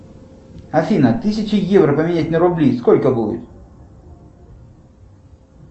афина тысячу евро поменять на рубли сколько будет